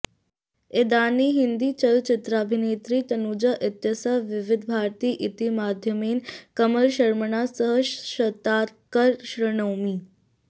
इदानीं हिन्दीचलचित्राभिनेत्री तनुजा इत्यस्याः विविधभारती इति माध्यमेन कमलशर्मणा सह साक्षात्कारं शृणोमि